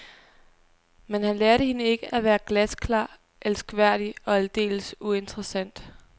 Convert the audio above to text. Men han lærte hende ikke at være glasklar, elskværdig og aldeles uinteressant.